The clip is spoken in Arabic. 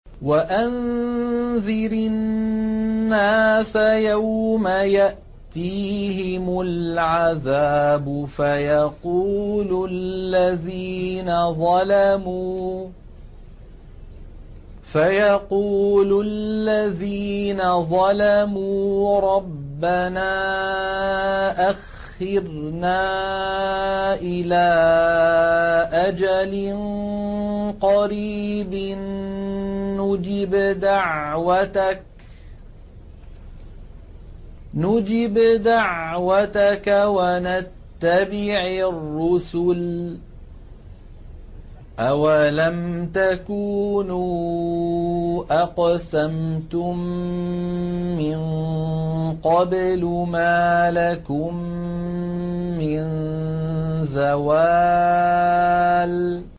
وَأَنذِرِ النَّاسَ يَوْمَ يَأْتِيهِمُ الْعَذَابُ فَيَقُولُ الَّذِينَ ظَلَمُوا رَبَّنَا أَخِّرْنَا إِلَىٰ أَجَلٍ قَرِيبٍ نُّجِبْ دَعْوَتَكَ وَنَتَّبِعِ الرُّسُلَ ۗ أَوَلَمْ تَكُونُوا أَقْسَمْتُم مِّن قَبْلُ مَا لَكُم مِّن زَوَالٍ